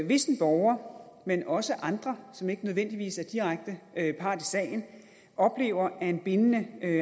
hvis en borger men også andre som ikke nødvendigvis er direkte part i sagen oplever at en bindende